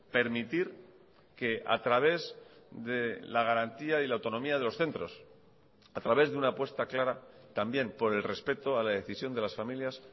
permitir que a través de la garantía y la autonomía de los centros a través de una apuesta clara también por el respeto a la decisión de las familias